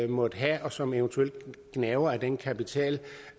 måtte have og som eventuelt gnaver af den kapital